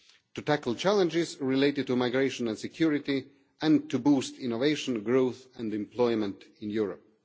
to tackle challenges related to migration and security and to boost innovation, growth and employment in Europe.